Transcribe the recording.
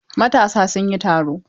Matasa sun yi taro.